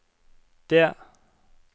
det